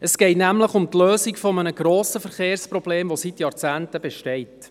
Es geht nämlich um die Lösung eines grossen Verkehrsproblems, das seit Jahrzehnten besteht.